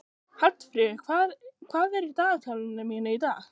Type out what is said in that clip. Hallfríður, hvað er í dagatalinu mínu í dag?